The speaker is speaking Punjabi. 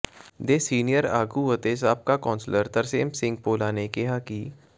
ਦੇ ਸੀਨੀਅਰ ਆਗੂ ਅਤੇ ਸਾਬਕਾ ਕੌਂਸਲਰ ਤਰਸੇਮ ਸਿੰਘ ਭੋਲਾ ਨੇ ਕਿਹਾ ਕਿ